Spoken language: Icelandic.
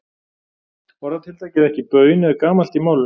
Orðatiltækið ekki baun er gamalt í málinu.